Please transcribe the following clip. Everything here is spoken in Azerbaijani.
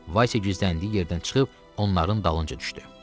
Vasiya gizləndiyi yerdən çıxıb onların dalınca düşdü.